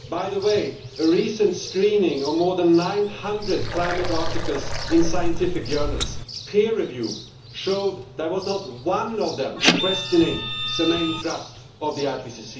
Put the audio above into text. By the way, a recent screening of more than 900 climate articles in scientific journals peer review showed that not one of them questioned the main thrust of the IPCC.